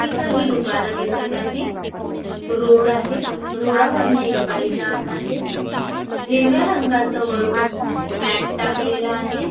इथे काही दुकान दिसत आहे रोड आहे रोडावरन एक बाई जात आहे हिरव्या रंगाच वरुण एक मॅट टाकलेल आहे.